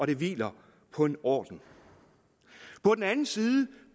det hviler på en orden samtidig